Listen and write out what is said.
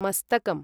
मस्तकम्